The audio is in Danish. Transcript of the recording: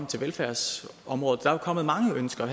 til velfærdsområdet er jo kommet mange ønsker